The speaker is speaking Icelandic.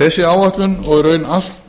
þessi áætlun og í raun allt það